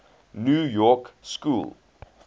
new york school